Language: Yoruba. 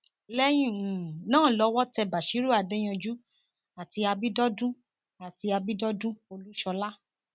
lẹyìn um náà lọwọ tẹ basírú adéyanjú àti abidọdùn àti abidọdùn olúṣọlá